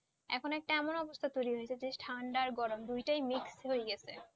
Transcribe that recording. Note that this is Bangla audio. এখন একটা এমন অবস্থা তৌরি হয়েছে যে ঠান্ডা গরম দুটো mist হয়ে যাচ্ছে